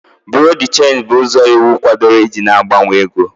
Buro de chenji bụ ụzọ iwu kwadoro iji na-agbanwe ego.